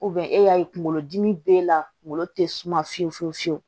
e y'a ye kunkolodimi b'e la kunkolo te suma fiyewu fiyewu fiyewu